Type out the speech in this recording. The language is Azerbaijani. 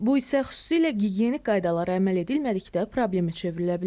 Bu isə xüsusilə gigiyenik qaydalara əməl edilmədikdə problemə çevrilə bilər.